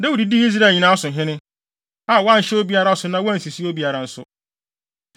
Dawid dii Israel nyinaa so hene, a wanhyɛ obiara so na wansisi obiara nso.